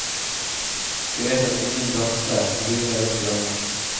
De vet at ingen børse lurer rundt hjørnet.